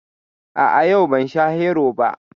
A'a, yau ban sha Hero ba